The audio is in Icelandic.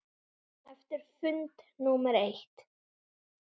Eftir fund númer eitt.